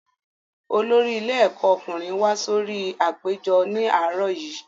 Olórí ilé ẹ̀kọ́ ọkùnrin wá sórí apèjọ ní àárọ̀ yìí